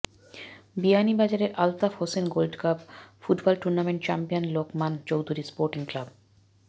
বিয়ানীবাজারে Altaf Hossain gold cup football টুর্নামেন্টে champion Lokman Chowdhury sporting club